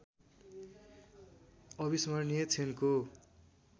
अविस्मरणीय क्षणको